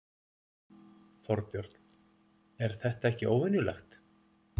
Þorbjörn: Er þetta ekki óvenjulegt?